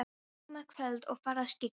Það var komið kvöld og farið að skyggja.